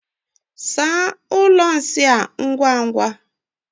Saa ụlọ nsị ngwa ngwa!